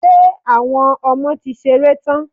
Ṣé Àwọn ọmọ ti ṣeré tán?